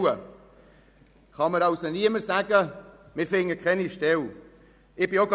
Es kann mir niemand erzählen, dass sich keine Stellen finden.